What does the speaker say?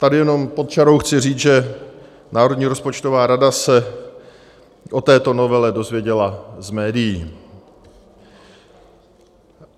- Tady jenom pod čarou chci říct, že Národní rozpočtová rada se o této novele dozvěděla z médií.